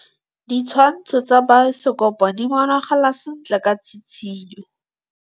Ditshwantshô tsa biosekopo di bonagala sentle ka tshitshinyô.